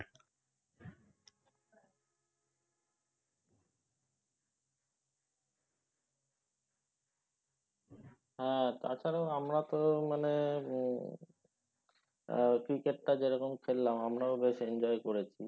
হ্যাঁ তাছাড়াও আমরা তো মানে উম আহ cricket টা যেরকম খেললাম আমরাও বেশ enjoy করেছি